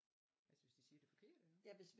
Altså hvis de siger det forkerte?